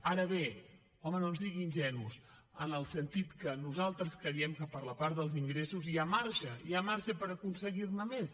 ara bé home no ens digui ingenus en el sentit que nosaltres creiem que per la part dels ingressos hi ha marge hi ha marge per aconseguir ne més